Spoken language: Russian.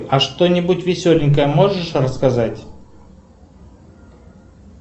а что нибудь веселенькое можешь рассказать